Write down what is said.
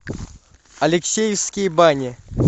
алексеевские бани